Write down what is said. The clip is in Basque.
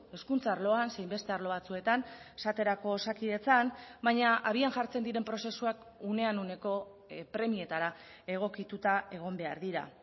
hezkuntza arloan zein beste arlo batzuetan esaterako osakidetzan baina abian jartzen diren prozesuak unean uneko premietara egokituta egon behar dira